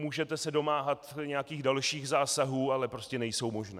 Můžete se domáhat nějakých dalších zásahů, ale prostě nejsou možné.